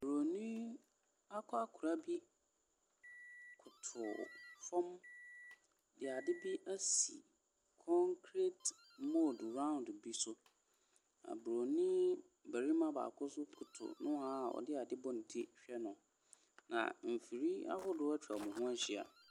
Buroni akɔkora bi koto fam de ade bi asi concrete moodu round bi so, na buroni barima baako nso koto nohoa a ɔde ade abɔ ne ti rehwɛ no, na mfiri ahodoɔ atwa wɔn ho ahyia.